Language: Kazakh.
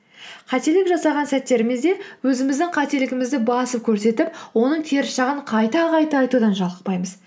қателік жасаған сәттерімізде өзіміздің қателігімізді басып көрсетіп оның теріс жағын қайта қайта айтудан жалықпаймыз